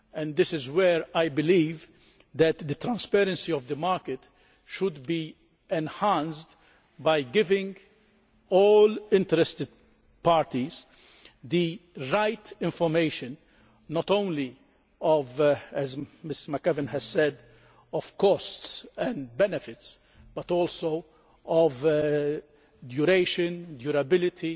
This is where I believe that the transparency of the market should be enhanced, by giving all interested parties the right information not only as Mrs McAvan has said about costs and benefits, but also about the duration, durability